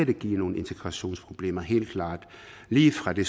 det give nogle integrationsproblemer helt klart lige fra de